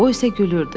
O isə gülürdü.